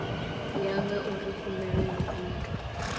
ya ngauri khumbelo yo itwa